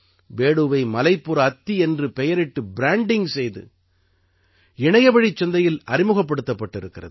பேடூவை மலைப்புற அத்தி என்ற பெயரிட்டு ப்ராண்டிங்க் செய்து இணையவழிச் சந்தையில் அறிமுகப்படுத்தப்பட்டிருக்கிறது